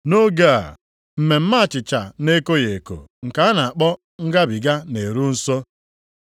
Nʼoge a, Mmemme Achịcha na-ekoghị eko nke a na-akpọ Ngabiga na-eru nso.